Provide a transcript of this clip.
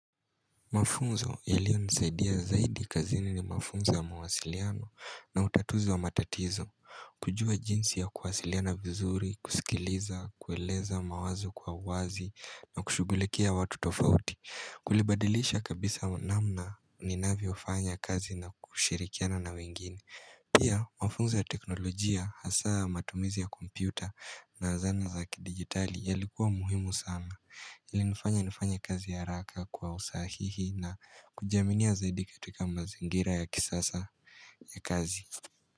Mafunzo yaliyo nisaidia zaidi kazini ni mafunzo ya mawasiliano na utatuzi wa matatizo kujua jinsi ya kuwasiliana vizuri, kusikiliza, kueleza mawazo kwa uwazi na kushughulikia watu tofauti Kulibadilisha kabisa namna ninavyo fanya kazi na kushirikiana na wengine Pia mafunzo ya teknolojia hasaa matumizi ya kompyuta na zana za kidigitali yalikuwa muhimu sana ilinifanya nifanya kazi ya haraka kwa usahihi na kujiaminia zaidi katika mazingira ya kisasa ya kazi.